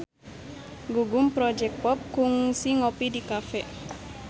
Gugum Project Pop kungsi ngopi di cafe